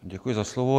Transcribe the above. Děkuji za slovo.